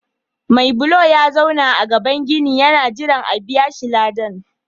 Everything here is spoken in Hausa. Mai bulo ya zauna a gaban ginin yana jiran a biya shi ladan.